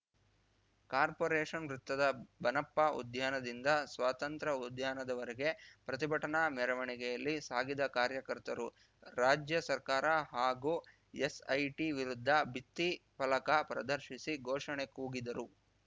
corporation ವೃತ್ತದ ಬನಪ್ಪ ಉದ್ಯಾನದಿಂದ ಸ್ವತಂತ್ರ ಉದ್ಯಾನದವರೆಗೆ ಪ್ರತಿಭಟನಾ ಮೆರವಣಿಗೆಯಲ್ಲಿ ಸಾಗಿದ ಕಾರ್ಯಕರ್ತರು ರಾಜ್ಯ ಸರ್ಕಾರ ಹಾಗೂ ಎಸ್‌ಐಟಿ ವಿರುದ್ಧ ಭಿತ್ತಿ ಫಲಕ ಪ್ರದರ್ಶಿಸಿ ಘೋಷಣೆ ಕೂಗಿದರು